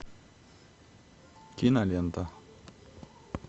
кинолента